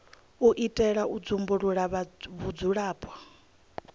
u itela u dzumbulula vhudzulapo